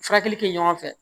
Furakɛli kɛ ɲɔgɔn fɛ